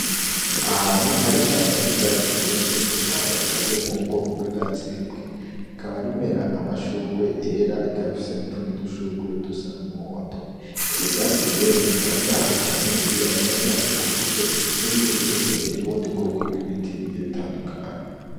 Ahantu hari ishamba ry'ivyatsi vyinshi iryo shamba rikaririmo ubwoko bw'ivyatsi bimwe akaba rimera amashugwe yera ikababifise n'utundi dushurwe dusa n'umuhondo evyo vyatsi rero bikaba biri ahantu hane n'iya bikaba binakikujwe n'ibiti birebire n'ubundi bwoko bw'ibiti byiabitandukanye.